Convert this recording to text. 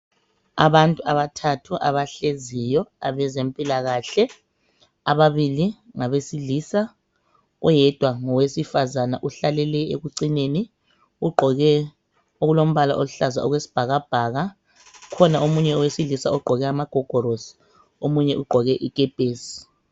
Abantu abathathu abahleziyo abezempilakahle ababili ngabesilisa oyedwa ngowesifazana uhlalele ekucineni ugqoke okulombala oluhlaza okwesibhakabhaka kukhona omunye owesilisa ogqoke amagogolosi omunye ugqoke ikepesi.